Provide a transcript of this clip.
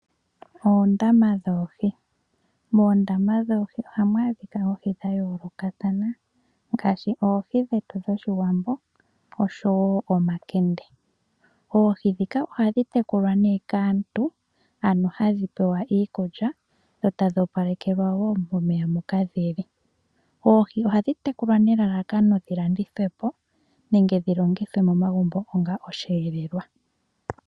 Oondama dhoohi. Moondama dhoohi ohamu adhika oohi dha yoolokathana ngaashi oohi dhetu dhOshiwambo, oshowo omakende. Oohi ndhika ohadhi tekulwa kaantu, ano hadhi pewa iikulya, dho tadhi opalekelwa wo momeya moka dhi li. Oohi ohadhi tekulwa nelalakano dhi landithwe po nenge dhi longithwe momagumbo onga osheelelwa.